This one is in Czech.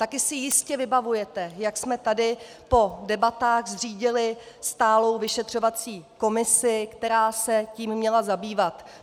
Také si jistě vybavujete, jak jsme tady po debatách zřídili stálou vyšetřovací komisi, která se tím měla zabývat.